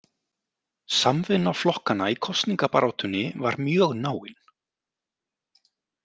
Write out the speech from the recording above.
Samvinna flokkanna í kosningabaráttunni var mjög náin.